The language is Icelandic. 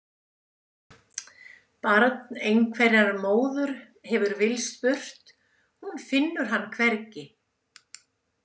Barn einhverrar móður hefur villst burt, hún finnur hann hvergi.